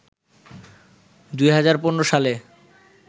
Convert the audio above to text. ২০১৫ সালে